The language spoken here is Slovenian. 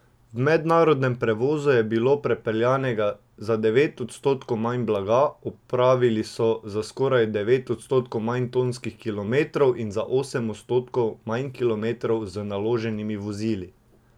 V mednarodnem prevozu je bilo prepeljanega za devet odstotkov manj blaga, opravili so za skoraj devet odstotkov manj tonskih kilometrov in za osem odstotkov manj kilometrov z naloženimi vozili.